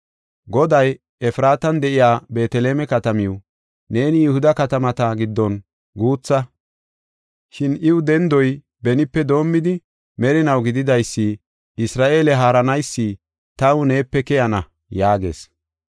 Goday, “Efraatan de7iya Beeteleme katamaw, neeni Yihuda katamata giddon guutha; shin iyaw dendoy benipe doomidi, merinaw gididaysi, Isra7eele haaranaysi taw neepe keyana” yaagees.